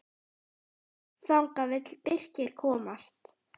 Þangað vill Birkir komast.